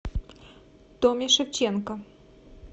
томе шевченко